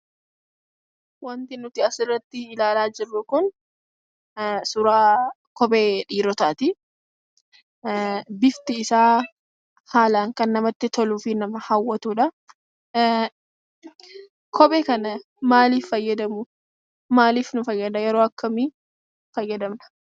Wanti nuti asirratti ilaalaa jirru kun suuraa Kophee dhiirotaati. Bifti isaa haalaan kan namatti toluufi nama hawwatuudha. Kophee kana maaliif fayyadamu maaliif nu fayyada? yeroo akkamii fayyadamna?